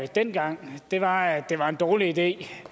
dengang var at det var en dårlig idé